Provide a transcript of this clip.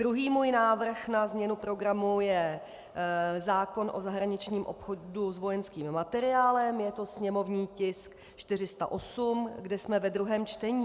Druhý můj návrh na změnu programu je zákon o zahraničním obchodu s vojenským materiálem, je to sněmovní tisk 408, kde jsme ve druhém čtení.